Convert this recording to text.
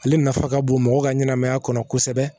Ale nafa ka bon mɔgɔ ka ɲɛnɛmaya kɔnɔ kosɛbɛ